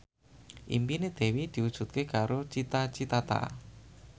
impine Dewi diwujudke karo Cita Citata